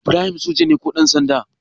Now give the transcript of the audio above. Ibrahim soja ne ko ɗansanda?